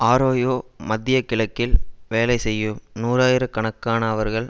Arroyo மத்திய கிழக்கில் வேலை செய்யும் நூறாயிரக் கணக்கான அவர்கள்